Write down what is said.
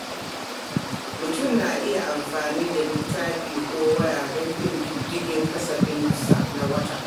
Mutum na iya amfani da littafi ko waya don bin diddigin kasafinsa na wata.